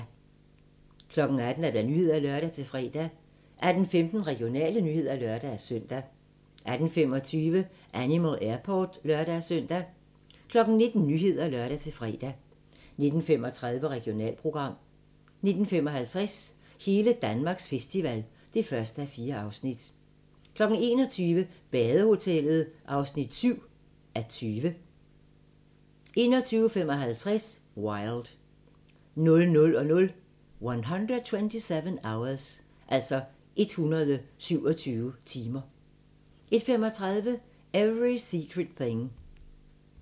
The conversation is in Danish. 18:00: Nyhederne (lør-fre) 18:15: Regionale nyheder (lør-søn) 18:25: Animal Airport (lør-søn) 19:00: Nyhederne (lør-fre) 19:35: Regionalprogram 19:55: Hele Danmarks festival (1:4) 21:00: Badehotellet (7:20) 21:55: Wild 00:00: 127 Hours 01:35: Every Secret Thing